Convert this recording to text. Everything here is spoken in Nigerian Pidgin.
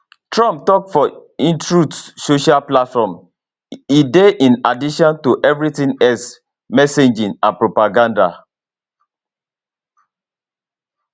trump tok for imtruth social platform e dey in addition to evritin else messaging and propaganda